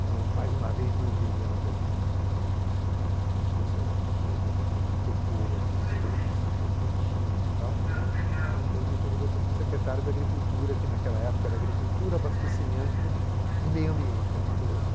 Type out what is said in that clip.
De novo, mais uma vez, não entendia nada disso, né, mas fosse aí alguma coisa que me tocou da minhas experiências com os meus tios e tal, né, o Montoro me convidou para ser secretário da agricultura, que naquela época era agricultura, abastecimento e meio ambiente, era uma coisa só.